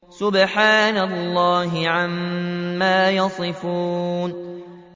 سُبْحَانَ اللَّهِ عَمَّا يَصِفُونَ